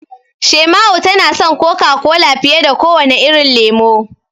Shaima'u tana son Coca-Cola fiye da kowane irin lemo.